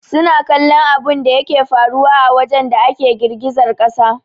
Suna kallon abunda yake faruwa a wajen da ake girgizar kasa